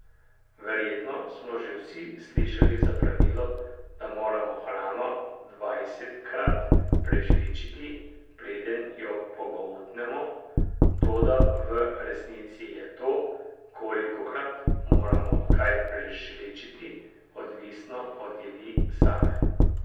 Verjetno smo že vsi slišali za pravilo, da moramo hrano dvajsetkrat prežvečiti, preden jo pogoltnemo, toda v resnici je to, kolikokrat moramo kaj prežvečiti, odvisno od jedi same.